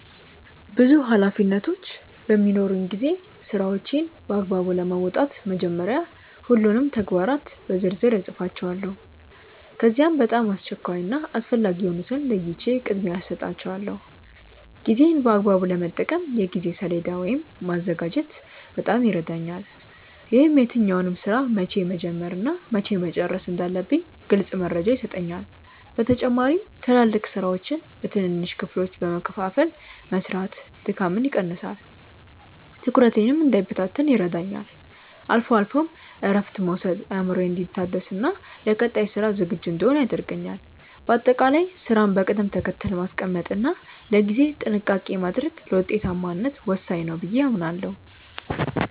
ብዙ ኃላፊነቶች በሚኖሩኝ ጊዜ ስራዎቼን በአግባቡ ለመወጣት መጀመሪያ ሁሉንም ተግባራት በዝርዝር እጽፋቸዋለሁ። ከዚያም በጣም አስቸኳይ እና አስፈላጊ የሆኑትን ለይቼ ቅድሚያ እሰጣቸዋለሁ። ጊዜዬን በአግባቡ ለመጠቀም የጊዜ ሰሌዳ ወይም ማዘጋጀት በጣም ይረዳኛል። ይህም የትኛውን ስራ መቼ መጀመር እና መቼ መጨረስ እንዳለብኝ ግልጽ መረጃ ይሰጠኛል። በተጨማሪም ትላልቅ ስራዎችን በትንንሽ ክፍሎች በመከፋፈል መስራት ድካምን ይቀንሳል፤ ትኩረቴም እንዳይበታተን ይረዳኛል። አልፎ አልፎም እረፍት መውሰድ አእምሮዬ እንዲታደስና ለቀጣይ ስራ ዝግጁ እንድሆን ያደርገኛል። በአጠቃላይ ስራን በቅደም ተከተል ማስቀመጥ እና ለጊዜ ጥንቃቄ ማድረግ ለውጤታማነት ወሳኝ ነው ብዬ አምናለሁ።